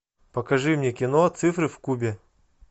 покажи мне кино цифры в кубе